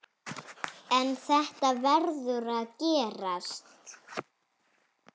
En þetta verður að gerast.